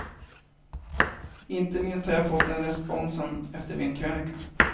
Inte minst har jag fått den responsen efter min krönika.